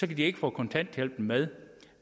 de ikke få kontanthjælpen med